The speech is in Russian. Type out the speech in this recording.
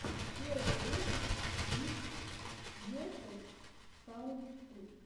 первый выпуск гифтс весос саунд ту